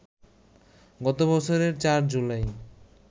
গত বছরের ৪ জুলাই